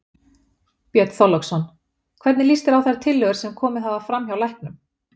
Björn Þorláksson: Hvernig líst þér á þær tillögur sem komið hafa fram hjá læknum?